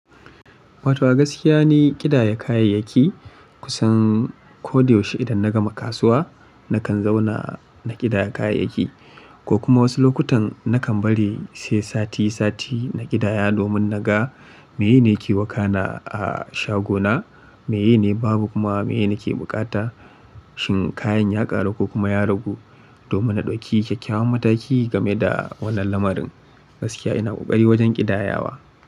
Wato gaskiya ni kidaya kayayyaki kusan ko da yaushe idan na gama kasuwa nakan zauna na kidaya kayayyaki ko kuma wasu lokutan nakan bari sai sati sati na kidaya domin naga miye ne ke wakana a shagona, meye ne babu kuma meye nake bukata, shin kayan ya ƙaru ko kuma ya ragu domin na ɗauki kyakkyawan mataki game da wannan lamarin. Gaskiya ina ƙoƙari wajan kidayawa.